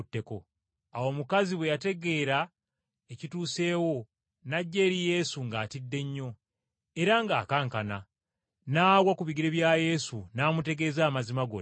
Awo omukazi bwe yategeera ekituuseewo n’ajja eri Yesu ng’atidde nnyo era ng’akankana, n’agwa awo mu maaso ga Yesu n’amutegeeza amazima gonna.